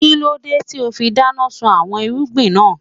Kílódé tíì ó fi dáná sun àwọn irúgbìn náà